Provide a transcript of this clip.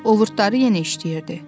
Ovurdları yenə işləyirdi.